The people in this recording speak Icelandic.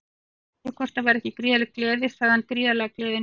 Aðspurður hvort það væri ekki gríðarleg gleði sagði hann Gríðarleg gleði núna.